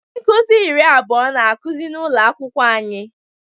Ndị nkuzi iri abụọ na-akụzi n'ụlọ akwụkwọ anyị.